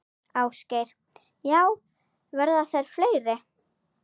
Ásgeir: Já, verða þær fleiri?